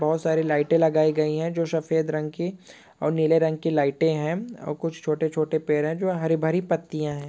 बहुत सारी लाइटें लगाई गई है जो सफेद रंग की और नीले रंग की लाइटें हैं और कुछ छोटे-छोटे पेड़ हैं जो हरी भरी पत्तियां हैं।